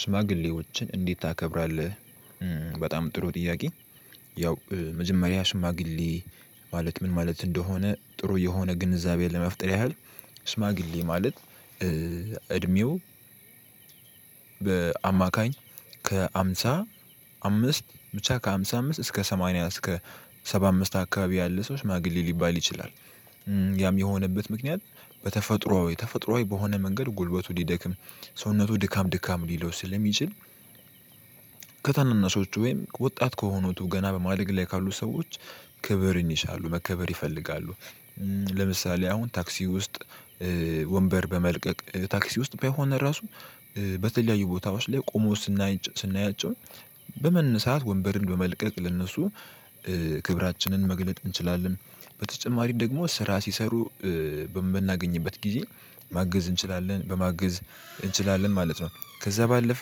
ሽማግሌዎችን እንዴት ታከብራለህ? በጣም ጥሩ ጥያቄ ያው መጀመሪያ ሽማግሌ ማለት ምን ማለት እንደሆነ ጥሩ የሆነ ግንዛቤ ለመፍጠር ያህል ሽማግሌ ማለት እድሜው በአማካኝ ከሃምሳ አምስት ብቻ ከሃምሳ አምስት እስከ ሰማንያ እስከ ሰባ አምስት አካባቢ ያለ ሰው ሽማግሌ ሊባል ይችላል። ያም የሆነበት ምክንያት በተፈጥሮአዊ ተፈጥሮአዊ በሆነ መንገድ ጉልበቱ ሊደክም ሰውነቱ ድካም ድካም ሊለው ስለሚችል። ከታናናሾቹ ወይም ወጣት ከሆኑቱ ገና በማደግ ላይ ካሉ ሰዎች ክብርን ይሻሉ መከበር ይፈልጋሉ። ለምሳሌ አሁን ታክሲ ውስጥ ወንበር በመልቀቅ ታክሲ ውስጥ በሆነ ራሱ በተለያዩ ቦታዎች ላይ ቆሞ ስናያቸው በመነሳት ወንበርን በመልቀቅ ለእነሱ ክብራችንን መግለጥ እንችላለን። በተጨማሪም ደግሞ ስራ ሲሰሩ በምናገኝበት ጊዜ ማገዝ እንችላለን በማገዝ እንችላለን ማለት ነው። ከዛ ባለፈ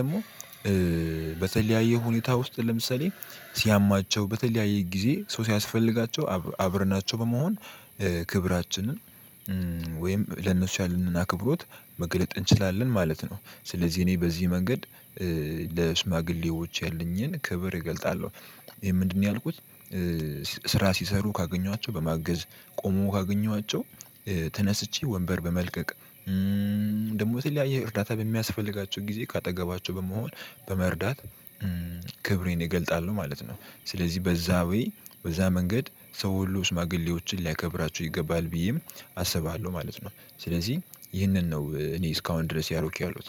ደግሞ በተለያየ ሁኔታ ውስጥ ለምሳሌ ሲያማቸው በተለያየ ጊዜ ሰው ሲያስፈልጋቸው አብረናቸው በመሆን ክብራችንን ወይም ለእነሱ ያለንን አክብሮት መግለጥ እንችላለን ማለት ነው። ስለዚህ እኔ በዚህ መንገድ ለሽማግሌዎች ያለኝን ክብር እገልጣለሁ። ይሄ ምንድነው ያልኩት? ስራ ሲሰሩ ካገኘኋቸው በማገዝ ቆሞ ካገኘኋቸው ተነስቼ ወንበር በመልቀቅ ደግሞ የተለያይ እርዳታ በሚያስፈልጋቸው ጊዜ ከአጠገባቸው በመሆን በመርዳት ክብሬን እገልጣለሁ ማለት ነው። ስለዚህ በዛ ወይ በዛ መንገድ ሰው ሁሉ ሽማግሌዎችን ሊያከብራቸው ይገባል ብዬም አስባሃለሁ ማለት ነው። ስለዚህ ይህንን ነው እኔ እስካሁን ድረስ እያደረኩ ያሉት